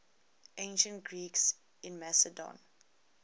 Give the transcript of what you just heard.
ancient greeks in macedon